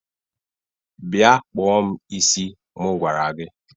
Bịa kpụọ m isi mụ gwara gị!